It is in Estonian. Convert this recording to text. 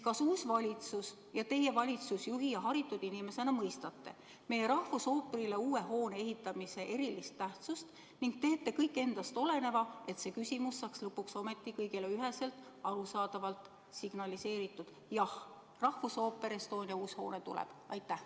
Kas uus valitsus ja teie valitsusjuhi ja haritud inimesena mõistate meie rahvusooperile uue hoone ehitamise erilist tähtsust ning teete kõik endast oleneva, et lõpuks ometi saaks kõigile üheselt arusaadavalt signaliseeritud: jah, Rahvusooperi Estonia uus hoone tuleb?